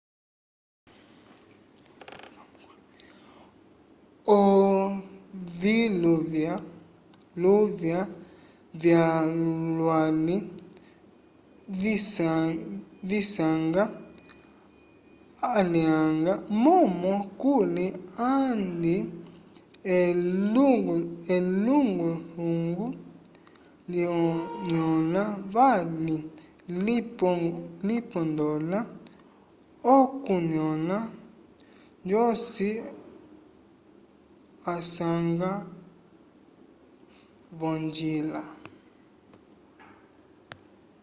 oviluvya luvya vyolwali visanga alyanga momo kuli andi ehunguhungu linyola vali lipondola okunyola joci asanga vongila